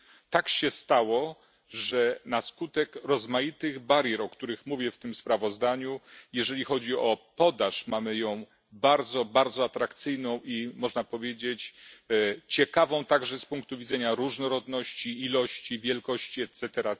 Tak się stało, że na skutek rozmaitych barier, o których mówię w tym sprawozdaniu, podaż mamy bardzo, bardzo atrakcyjną i można powiedzieć ciekawą także z punktu widzenia różnorodności, ilości i wielkości etc.,